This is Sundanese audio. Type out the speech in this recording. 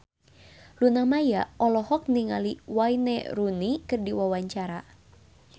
Luna Maya olohok ningali Wayne Rooney keur diwawancara